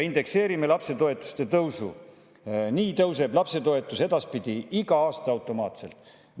"Indekseerime lapsetoetuste tõusu – nii tõuseb lapsetoetus edaspidi iga aasta automaatselt.